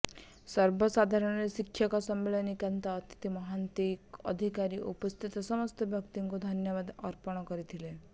ସର୍ବଶେଷରେ ଶିକ୍ଷକ ନଳିନୀକାନ୍ତ ମହାନ୍ତି ଅତିଥି ଅଧିକାରୀ ଓ ଉପସ୍ଥିତ ସମସ୍ତ ବ୍ୟକ୍ତିଙ୍କୁ ଧନ୍ୟବାଦ ଅର୍ପଣ କରିଥିଲେ